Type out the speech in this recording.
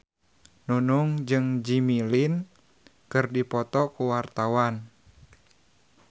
Nunung jeung Jimmy Lin keur dipoto ku wartawan